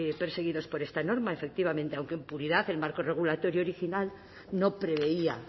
perseguidos por esta norma efectivamente aunque en puridad el marco regulatorio original no preveía